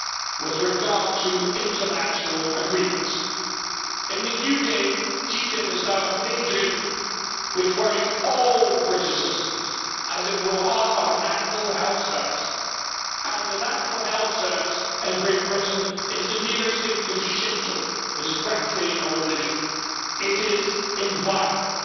With regard to international agreements, in the UK TTIP is now a major issue which worries all British citizens, as it will harm our National Health Service, and the National Health Service in Great Britain is the nearest thing to Shinto it is practically a religion, it is inviolable.